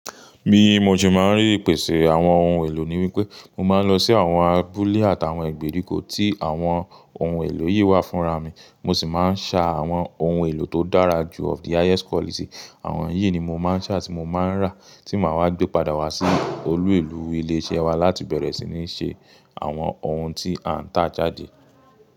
Bi mo se máa ń rí ipèsè àwọn ohun èlò ní wí pé mo máa ń lọ sí àwọn abúlé àtàwọn ẹgbẹ́ ríkò tí àwọn ohun èlò yìí wà fúnra mi. Mo sì máa ń sá àwọn ohun èlò tó dára jù of the highest quality. Àwọn yìí ni mo máa ń sá ti mo máa ń rà tí mo máa wá gbé padà wá sí olú èlò ilé iṣẹ́ wa láti bẹ̀rẹ̀ sí ní ṣe àwọn ohun tí a n tà jáde.